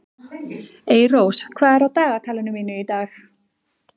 Eyrós, hvað er á dagatalinu mínu í dag?